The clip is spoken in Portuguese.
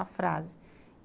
a frase.